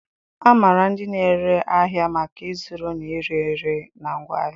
A maara ndị na-ere ahịa maka ịzụrụ na ire ere na ngwaahịa.